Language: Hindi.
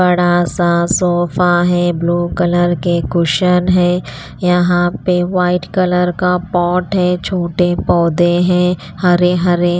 बड़ा सा सोफा है ब्लू कलर के कुशन है यहाँ पे वाइट कलर का पॉट है छोटे पौधे हैं हरे हरे।